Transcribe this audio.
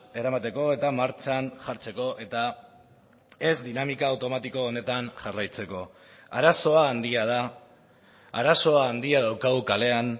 eramateko eta martxan jartzeko eta ez dinamika automatiko honetan jarraitzeko arazoa handia da arazo handia daukagu kalean